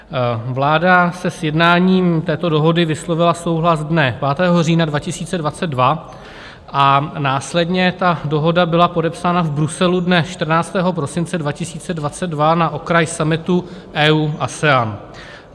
Vláda se sjednáním této dohody vyslovila souhlas dne 5. října 2022 a následně ta dohoda byla podepsána v Bruselu dne 14. prosince 2022 na okraj summitu EU-ASEAN.